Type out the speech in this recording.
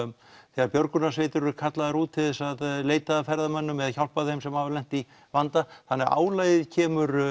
þegar björgunarsveitir eru kallaðar út til þess að leita að ferðamönnum eða hjálpa þeim sem hafa lent í vanda þannig að álagið kemur